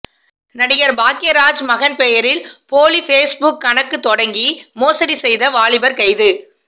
நடிகர் பாக்யராஜ் மகன் பெயரில் போலி பேஸ் புக் கணக்கு தொடங்கி மோசடி செய்த வாலிபர் கைது